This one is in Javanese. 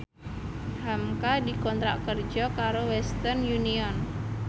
hamka dikontrak kerja karo Western Union